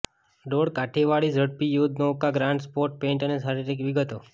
ડોળકાઠીવાળી ઝડપી યુદ્ધનૌકા grand sport paint અને શારીરિક વિગતો